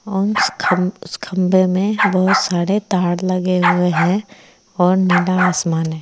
औ उस खम उस खंबे में बहोत सारे तार लगे हुए हैं और नीला आसमान है।